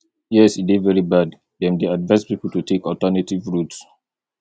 yes e dey very bad dem dey advise people to take alternative routes